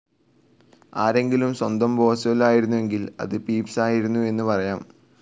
ആരെങ്കിലും സ്വന്തം ബോസ്വെൽ ആയിരുന്നെങ്കിൽ അത് പീപ്സ്‌ ആയിരുന്നു എന്ന് പറയാം.